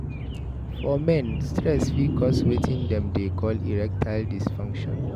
For men, stress fit cause wetin dem dey call erectile dysfunction